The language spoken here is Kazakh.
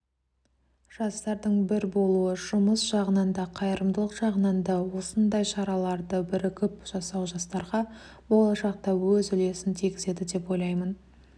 жастардың бір болуы жұмыс жағынан да қайырымдылық жағынан да осындай шараларды бірігіп жасау жастарға болашақта өз үлесін тигізеді деп ойлаймын